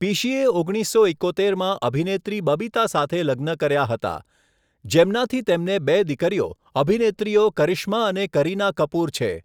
પિશીએ ઓગણીસસો એકોતેરમાં અભિનેત્રી બબીતા સાથે લગ્ન કર્યા હતા, જેમનાથી તેમને બે દીકરીઓ, અભિનેત્રીઓ કરિશ્મા અને કરીના કપૂર છે.